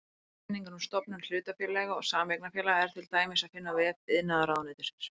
Leiðbeiningar um stofnun hlutafélaga og sameignarfélaga er til dæmis að finna á vef iðnaðarráðuneytisins.